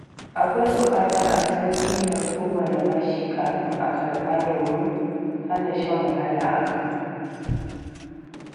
Akwai buƙatar a san ƙimar kowane bashi kafin a karɓa domin hana shan wahala a gaba.